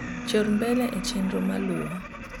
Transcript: chor mbele e chenro maluo